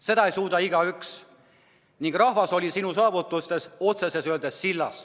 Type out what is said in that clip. Seda ei suuda igaüks ning rahvas oli sinu saavutustest otse öeldes sillas.